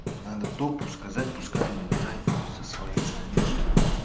надо топу сказать пускай он убирает его со своей странички нах